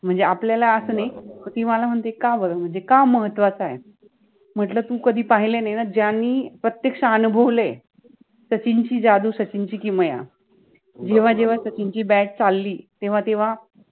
म्हणजे आपल्याला अस नाहि ति मला म्हणते का बर म्हणजे का महत्त्वाचा आहे, म्हंटल तु कधि पाहिल नाहि न, ज्यानि प्रत्यक्ष अनुभवलय सचिन चि जादु, सचिन चि किमया, जेव्हा जेव्हा सचिन चि BAT चाललि तेव्हा तेव्हा